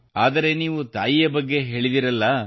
ಆದರೆ ನೀವು ತಾಯಿಯ ಬಗ್ಗೆ ಹೇಳಿದಿರಲ್ಲ